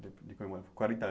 De de comemorar quarenta